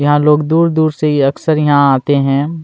यहाँ लोग दूर दूर से ये अक्सर यहाँ आते है।